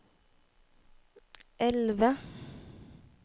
elve